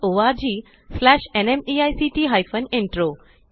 spoken tutorialorgnmeict intro